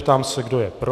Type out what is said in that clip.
Ptám se, kdo je pro.